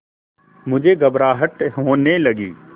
मुझे घबराहट होने लगी